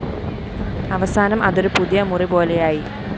അവസാനം അതൊരു പുതിയ മുറിപോലെയായി